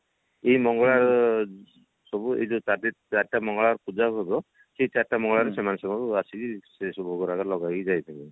ଏଇ ମଙ୍ଗଳବାର ସବୁ ଏ ଯୋଉ ଚା ଚାରିଟା ମଙ୍ଗଳବାର ପୂଜା ହେବ ସେ ଚାରିଟା ମଙ୍ଗଳବାର ସେମାନେ ସବୁ ଆସିକି ସେ ସବୁ ଭୋଗ ରାଗ ଲଗେଇକି ଯାଇଥିବେ